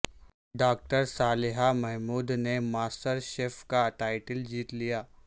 doctor Saliha Mahmood نےماسٹر chef کا title جیت لیا